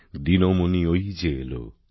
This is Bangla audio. দিনমণি ওই যে এলো